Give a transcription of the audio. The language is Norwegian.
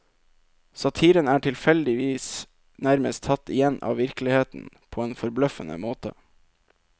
Satiren er tilfeldigvis nærmest tatt igjen av virkeligheten, på en forbløffende måte.